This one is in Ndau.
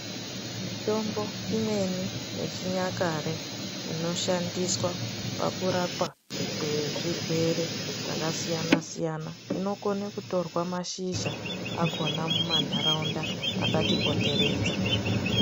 Mitombo imweni yechinyakare inoshandiswa pakurapa kwezvirwere zvakasiyana siyana inokone kutorwa mashizha akona mumantaraunda akatipoteredza.